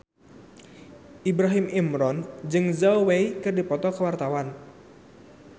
Ibrahim Imran jeung Zhao Wei keur dipoto ku wartawan